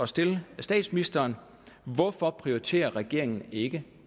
stille statsministeren hvorfor prioriterer regeringen ikke